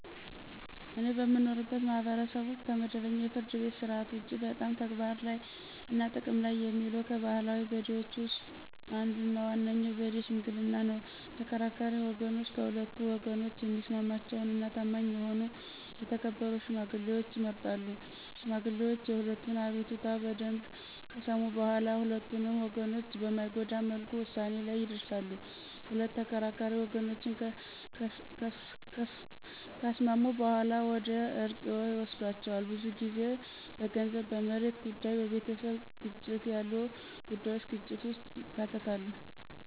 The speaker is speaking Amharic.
እኔ በምኖርበት ማህበረሰብ ውስጥ ከመደበኛው የፍርድ ቤት ሥርዓት ውጪ በጣም ተግባር ላይ እና ጥቅም ላይ የሚውለው ከባህላዊ ዘዴዎች ውስጥ አንዱ እና ዋነኛው ዘዴ ሽምግልና ነው። ተከራካሪ ወገኖች ከሁለቱ ወገኖች የሚስማማቸውን እና ታማኝ የሆኑ የተከበሩ ሽማግሌዎችን ይመርጣሉ። ሽማግሌዎቹ የሁለቱንም አቤቱታ በደምብ ከሰሙ በኋላ ሁለቱንም ወገኖች በማይጎዳ መልኩ ውሳኔ ላይ ይደርሳሉ። ሁለት ተከራካሪ ወገኖችን ካስማሙ በኋላ ወደ እርቅ ይወስዷቸዋል። ብዙ ጊዜ በገንዘብ፣ በመሬት ጉዳይ፣ በቤተሰብ ግጭት ያሉ ጉዳዩች ግጭት ውስጥ ይከታሉ።